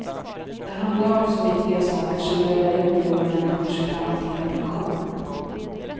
Det handlar om så viktiga saker som över en miljon människors framtida pension.